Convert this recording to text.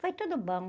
Foi tudo bom.